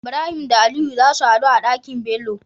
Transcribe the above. Ibrahim da aliyu zasu hadu a Ɗaki nBello